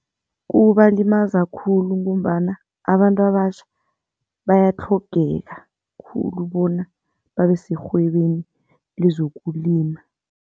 Kubalimaza khulu ngombana abantu abatjha bayatlhogeka khulu bona babe serhwebeni lezokulima.